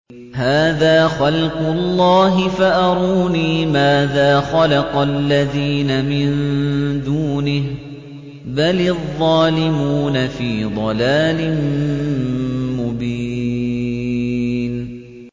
هَٰذَا خَلْقُ اللَّهِ فَأَرُونِي مَاذَا خَلَقَ الَّذِينَ مِن دُونِهِ ۚ بَلِ الظَّالِمُونَ فِي ضَلَالٍ مُّبِينٍ